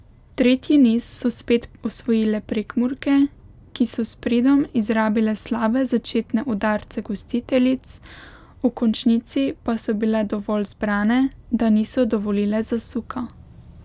Tretji niz so spet osvojile Prekmurke, ki so s pridom izrabile slabe začetne udarce gostiteljic, v končnici pa so bile dovolj zbrane, da niso dovolile zasuka.